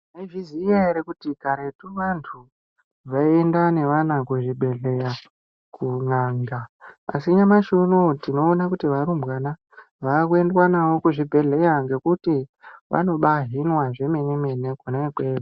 Mwaiziya ere kuti karetu vantu vaienda nevana kuzvibhedhlera kun'anga. Asi nyamashi unou tinoona kuti varumbwana vakuendwa navo kuzvibhedhleya. Ngekuti vanobahinwa zvemene-mene kwona ikweyo.